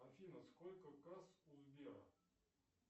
афина сколько касс у сбера